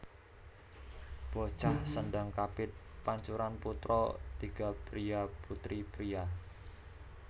Bocah Sendhang kapit pancuran putra tiga priya putri priya